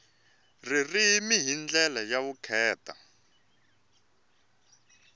ririmi hi ndlela ya vukheta